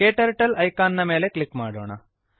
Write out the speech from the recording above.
KTurtle icon icon ನ ಮೇಲೆ click ಮಾಡೋಣ